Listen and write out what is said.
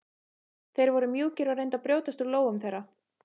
Þeir voru mjúkir og reyndu að brjótast úr lófum þeirra.